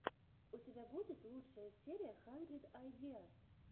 у тебя будет лучшая серия хандрид айдиас